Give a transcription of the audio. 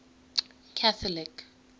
catholic